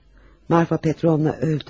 Marfa Petrovna öldü.